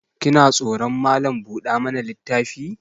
Kina tsoron Malam buɗa mana littafi?